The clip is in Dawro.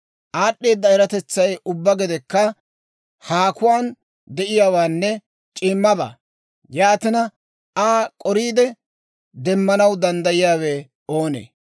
Aad'd'eeda eratetsay ubbaa gedekka haakuwaan de'iyaawaanne c'iimmabaa; yaatina, Aa k'oriide demmanaw danddayiyaawe oonee?